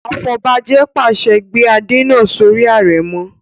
Afọbajẹ pàṣẹ "gbé Adé náà sórí àrẹ̀mọ!"